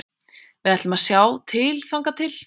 Við ætlum að sjá til þangað til.